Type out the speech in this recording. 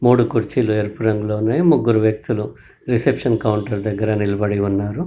మూడు కుర్చీలు ఎరుపు రంగులో ఉన్నాయి ముగ్గురు వ్యక్తులు రిసెప్సన్ కౌంటర్ దగ్గర నిలబడి ఉన్నారు.